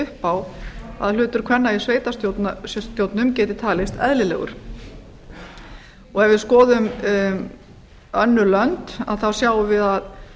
upp á að hlutur kvenna í sveitarstjórnum geti talist eðlilegur ef við skoðum önnur lönd sjáum við